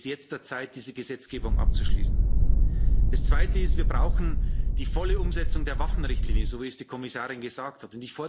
Es ist jetzt Zeit, diese Gesetzgebung abzuschließen. Das zweite ist Wir brauchen die volle Umsetzung der Waffenrichtlinie so, wie es die Kommissarin gesagt hat.